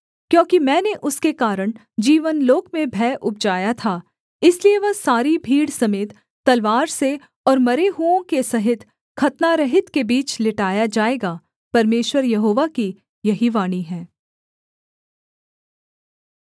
क्योंकि मैंने उसके कारण जीवनलोक में भय उपजाया था इसलिए वह सारी भीड़ समेत तलवार से और मरे हुओं के सहित खतनारहित के बीच लिटाया जाएगा परमेश्वर यहोवा की यही वाणी है